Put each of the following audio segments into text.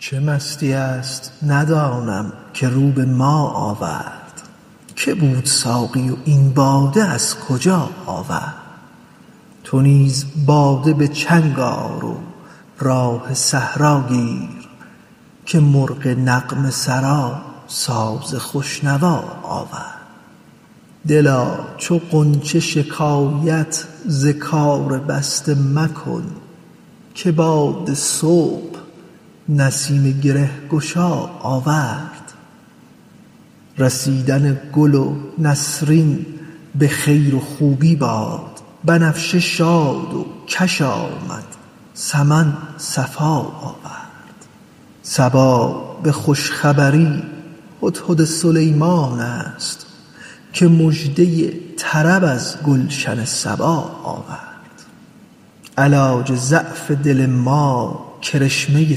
چه مستیی است ندانم که رو به ما آورد که بود ساقی و این باده از کجا آورد چه راه می زند این مطرب مقام شناس که در میان غزل قول آشنا آورد تو نیز باده به چنگ آر و راه صحرا گیر که مرغ نغمه سرا ساز خوش نوا آورد دلا چو غنچه شکایت ز کار بسته مکن که باد صبح نسیم گره گشا آورد رسیدن گل نسرین به خیر و خوبی باد بنفشه شاد و کش آمد سمن صفا آورد صبا به خوش خبری هدهد سلیمان است که مژده طرب از گلشن سبا آورد علاج ضعف دل ما کرشمه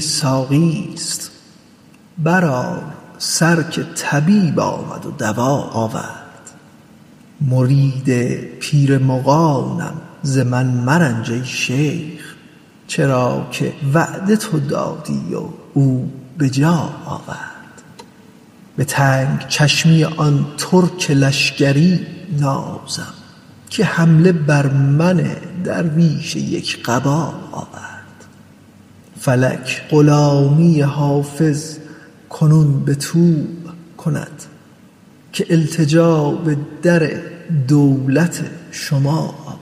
ساقیست برآر سر که طبیب آمد و دوا آورد مرید پیر مغانم ز من مرنج ای شیخ چرا که وعده تو کردی و او به جا آورد به تنگ چشمی آن ترک لشکری نازم که حمله بر من درویش یک قبا آورد فلک غلامی حافظ کنون به طوع کند که التجا به در دولت شما آورد